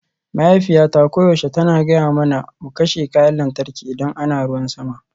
Mahaifiyata koyaushe tana gaya mana mu kashe kayan lantarki idan ana ruwan sama